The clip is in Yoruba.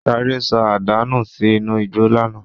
Ṣadé sọ àdá nù sí inú igbó lánàá.